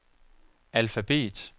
alfabet